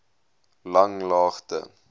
langlaagte